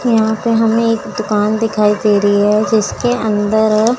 यहां पे हमे एक दुकान दिखाई दे रही है जिसके अंदर--